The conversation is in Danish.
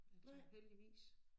Jeg tænker heldigvis